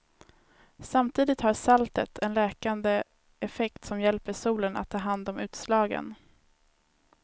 Samtidigt har saltet en läkande effekt som hjälper solen att ta hand om utslagen.